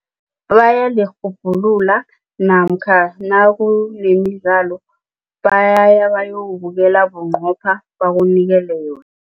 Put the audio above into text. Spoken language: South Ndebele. namkha nakunemidlalo bayaya bayowubukele bunqopha bakunikele yona.